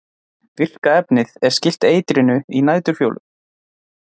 virka efnið er skylt eitrinu í næturfjólum